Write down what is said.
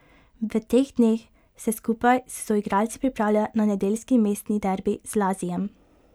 V teh dneh se skupaj s soigralci pripravlja na nedeljski mestni derbi z Lazijem.